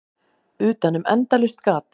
Utanum endalaust gat.